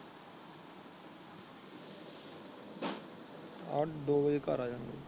ਅੱਧ ਦੋ ਵੱਜੇ ਘਰ ਆਉਗਾ।